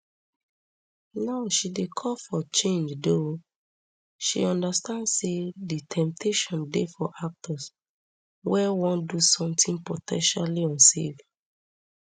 now she dey call for change though she understand say di temptation dey for actors wey wan do somtin po ten tially unsafe